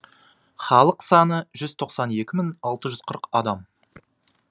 халық саны жүз тоқсан екі мың алты жүз қырық адам